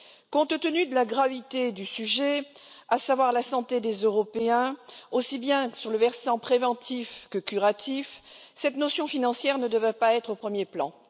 Compte tenu de la gravité du sujet, à savoir la santé des Européens, aussi bien sur le versant préventif que curatif, cette considération financière ne devrait pas être au premier plan.